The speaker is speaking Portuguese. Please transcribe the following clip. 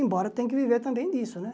Embora tenha que viver também disso, né?